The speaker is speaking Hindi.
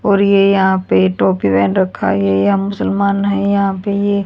और ये यहां पे टोपी पहेन रखा है ये मुसलमान हैं यहां पे ये--